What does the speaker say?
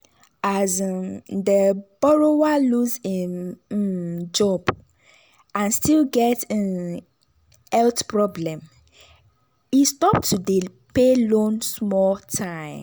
as um di borrower lose im um job and still get um health problem he stop to dey pay loan small time.